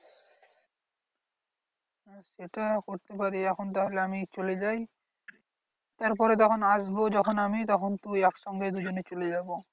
সেটা করতে পারি এখন তাহলে আমি চলে যাই তারপরে তখন আসবো যখন আমি তখন তুই একসঙ্গে দুজনে চলে যাবো।